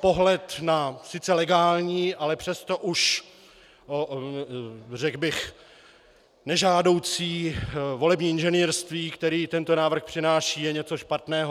pohled na sice legální, ale přesto už, řekl bych, nežádoucí volební inženýrství, které tento návrh přináší, je něco špatného.